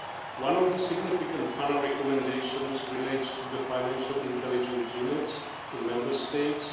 One of the significant PANA recommendations relates to the financial intelligence units in Member States.